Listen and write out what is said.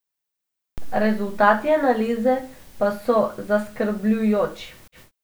Rezultati analize pa so zaskrbljujoči.